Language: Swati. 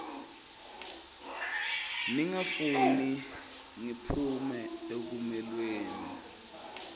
ningafuni ngiphume ekamelweni